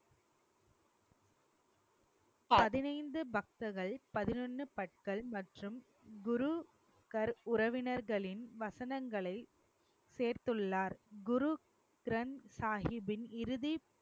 பதினைந்து பக்தர்கள் மற்றும் குரு உறவினர்களின் வசனங்களை சேர்த்துள்ளார், குரு கிரந்த சாஹிப்பின் இறுதி